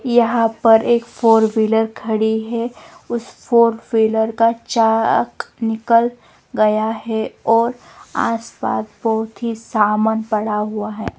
यहां पर एक फोर व्हीलर खड़ी है उस फोर व्हीलर का चाक निकल गया है और आसपास बहुत ही सामान पड़ा हुआ है।